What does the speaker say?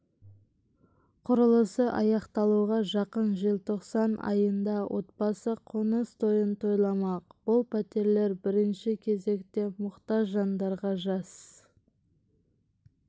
құрылысы аяқталуға жақын желтоқсан айында отбасы қоныс тойын тойламақ бұл пәтерлер бірінші кезекте мұқтаж жандарға жас